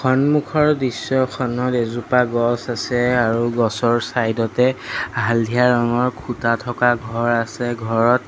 সন্মুখৰ দৃশ্যখনত এজোপা গছ আছে আৰু গছৰ চাইড তে হালধীয়া ৰঙৰ খুঁটা থকা ঘৰ আছে ঘৰত--